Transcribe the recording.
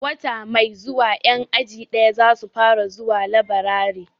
Wata mai zuwa 'yan aji daya za su fara zuwa laburare.